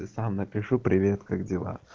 и сам напишу привет как дела